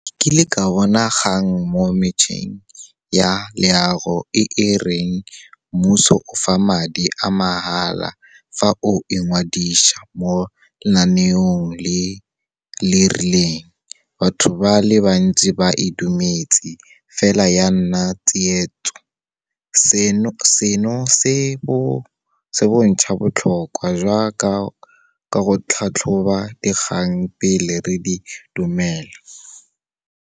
Ke ile ka bona ga nngwe mo metšheng ya leago e e reng mmuso fa madi a mahala fa o e ngwadisa mo lenaneong le le rileng. Batho ba le bantsi ba e dumetse, fela ya nna tsietso. Seno se bontjha botlhokwa jwa ka go tlhatlhoba dikgang pele re di dumela.